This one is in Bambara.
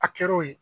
A kɛr'o ye